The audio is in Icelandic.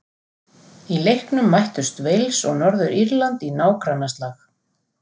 Í leiknum mættust Wales og Norður-Írland í nágrannaslag.